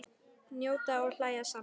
Njóta og hlæja saman.